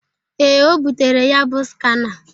Ee, o butere ya bụ skana.